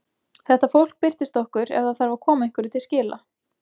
Þetta fólk birtist okkur ef það þarf að koma einhverju til skila.